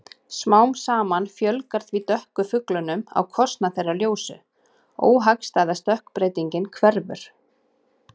Smám saman fjölgar því dökku fuglunum á kostnað þeirra ljósu- óhagstæða stökkbreytingin hverfur.